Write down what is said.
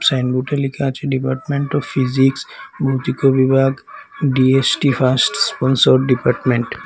সাইনবোর্ডে লেখা আছে ডিপার্টমেন্ট অফ ফিজিক্স ভৌতিকো বিভাগ ডিএসটি ফার্স্ট কনসার্ট ডিপার্টমেন্ট ।